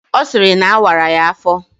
Ọ sịrị na awara ya afọ